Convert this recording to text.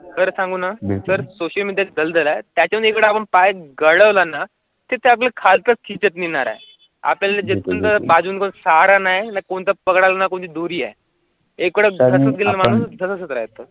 खारा सांगुणा त्याखालची मिळणार आहे. आपल्या जूनपासून सहारा नाही ना कोणत्या प्रकारचा कोणी दूरी आहे एकवेळ.